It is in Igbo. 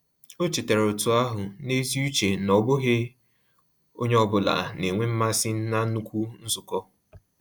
Ọ chetaara otu ahụ n’ezi uche na ọ bụghị onye ọ bụla na-enwe mmasị na nnukwu nzukọ.